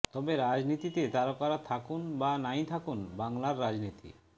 তবে রাজনীতিতে তারকারা থাকুন বা নাই থাকুন বাংলার রাজনীতি